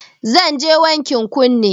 Zanje wankin kunne